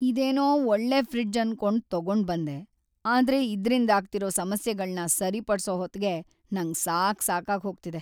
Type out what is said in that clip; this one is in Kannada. ಇದೇನೋ ಒಳ್ಳೆ ಫ್ರಿಡ್ಜ್ ಅನ್ಕೊಂಡ್ ತಗೊಂಡ್ಬಂದೆ, ಆದ್ರೆ ಇದ್ರಿಂದಾಗ್ತಿರೋ ಸಮಸ್ಯೆಗಳ್ನ ಸರಿಪಡ್ಸೋ ಹೊತ್ಗೇ ನಂಗ್‌ ಸಾಕ್ಸಾಗ್‌ಹೋಗ್ತಿದೆ.